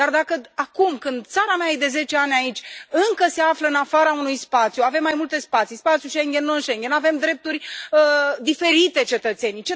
Dar dacă acum, când țara mea e de zece ani aici, încă se află în afara unui spațiu, avem mai multe spații spațiul Schengen, non Schengen, avem drepturi diferite, noi cetățenii.